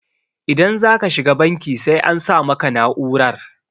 idan za ka shiga banki sai an sa maka na'urar